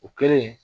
O kɛlen